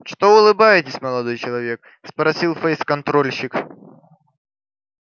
что улыбаетесь молодой человек спросил фейсконтрольщик